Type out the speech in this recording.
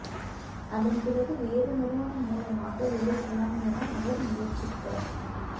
அதன் பிறகு வேறு நிறுவனம் மூலமாக வெளியிடலாம் என அவர் முயற்சித்த